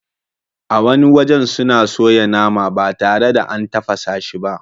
A wani wajen suna soya nama ba tare da an tafasa shi ba.